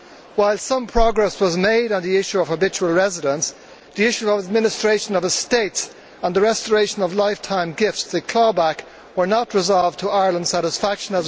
While some progress was made on the issue of habitual residence, the issue of administration of estates and the restoration of lifetime gifts or clawback were not resolved to Ireland's satisfaction.